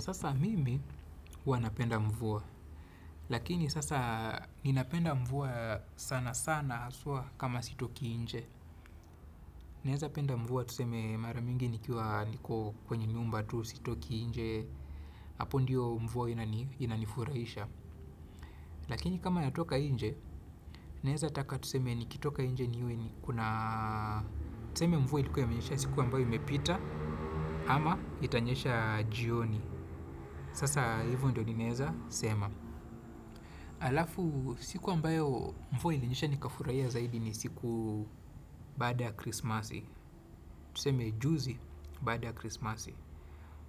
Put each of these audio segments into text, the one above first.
Sasa mimi huwa napenda mvua, lakini sasa ninapenda mvua sana sana haswa kama sitoki nje. Naeza penda mvua tuseme mara mingi nikiwa niko kwenye nyumba tu sitoki nje, hapo ndiyo mvua inanifurahisha. Lakini kama natoka inje, neza taka tuseme nikitoka nje niwe nikona tuseme mvua ilikuwa imenyesha siku ambayo imepita ama itanyesha jioni. Sasa hivo ndio ninaweza, sema. Alafu, siku ambayo mvua ilinyesha nikafurahia zaidi ni siku baada ya krisimasi. Tuseme juzi baada ya krisimasi,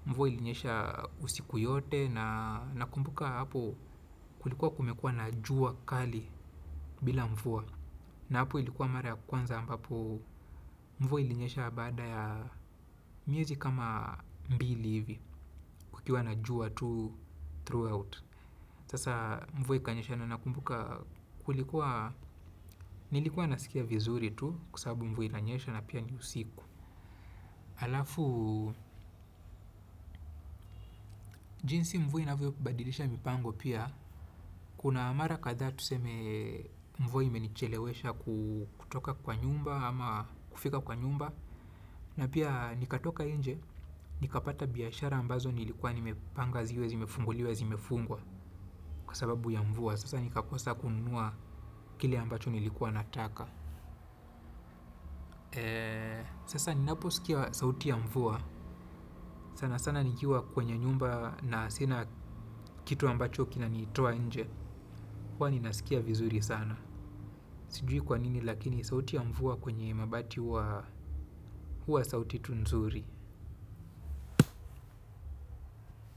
mvua ilinyesha usiku yote na nakumbuka hapo kulikuwa kumekuwa na jua kali bila mvua. Na hapo ilikuwa mara ya kwanza ambapo mvua ilinyesha baada ya miezi kama mbili hivi. Kukiwa na jua tu throughout. Sasa mvua ikanyesha na nakumbuka kulikuwa, nilikua nasikia vizuri tu kwa sababu mvua inanyesha na pia ni usiku. Alafu, jinsi mvua inavyobadilisha mipango pia. Kuna mara kadhaa tuseme, mvua imenichelewesha kutoka kwa nyumba ama kufika kwa nyumba. Na pia nikatoka nje, nikapata biashara ambazo nilikua nimepanga ziwe zimefunguliwa zimefungwa. Kwa sababu ya mvua, sasa nikakosa kununua kile ambacho nilikuwa nataka. Sasa ninapo sikia sauti ya mvua. Sana sana nikiwa kwenye nyumba na sina kitu ambacho kinanitoa nje huwa ninasikia vizuri sana. Sijui kwanini lakini sauti ya mvua kwenye mabati huwa sauti tu nzuri.